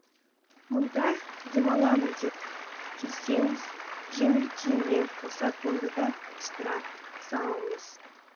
мұнда демаламын деп келсеңіз жеңіл киіммен қоса тонды да қыстыра салыңыз